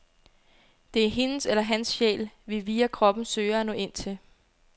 Det er hendes eller hans sjæl, vi via kroppen søger at nå ind til.